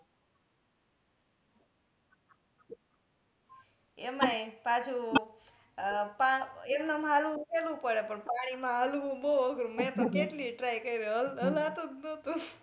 એમાં એ પાછુ એમ નેમ હાલવુ સેહલું પડે પન પાણી મા હાલવુ બઉ અઘરું મેં તો કેટલી એ try કર્યો હલાતુ જ નતુ .